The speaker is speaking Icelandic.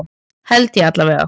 Held ég allavega.